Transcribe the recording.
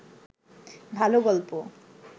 ভালো গল্প